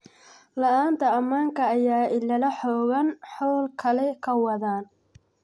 Laanta amanka aya ilala xoogan xol kaal kawadhan.